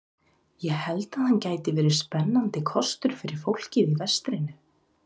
Ég held að hann gæti verið spennandi kostur fyrir fólkið í vestrinu.